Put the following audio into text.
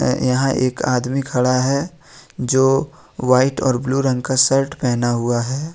यहां एक आदमी खड़ा है जो वाइट और ब्लू रंग का शर्ट पहना हुआ है।